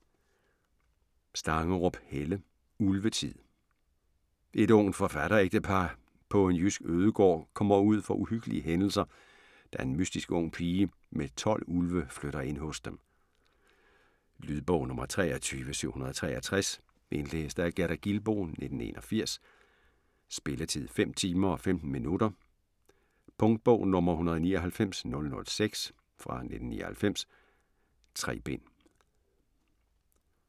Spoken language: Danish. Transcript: Stangerup, Helle: Ulvetid Et ungt forfatterægtepar på en jysk ødegård kommer ud for uhyggelige hændelser, da en mystisk ung pige med 12 ulve flytter ind hos dem. Lydbog 23763 Indlæst af Gerda Gilboe, 1981. Spilletid: 5 timer, 15 minutter. Punktbog 199006 1999. 3 bind.